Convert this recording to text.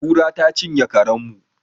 Kura ta cinye karen mu